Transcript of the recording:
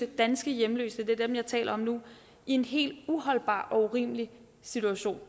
danske hjemløse det er dem jeg taler om nu i en helt uholdbar og urimelig situation